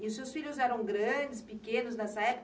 E os seus filhos eram grandes, pequenos nessa época?